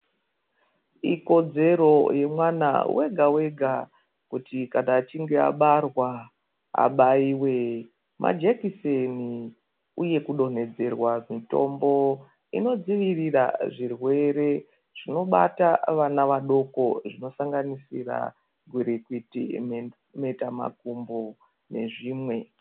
Ikodzero yemwana wega wega kuti kana achinge abarwa abaiwe majekiseni uye kudonhedzerwa mutombo inodzivirira zvirwere zvinobata vana vadoko zvinosangabisira gwirikwiti mhe mheta makumbo nezvimwe.